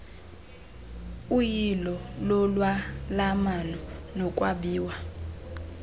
uyilo lolwalamano nokwabiwa